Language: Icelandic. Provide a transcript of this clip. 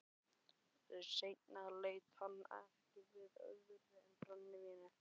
Seinna leit hann ekki við öðru en brennivíni.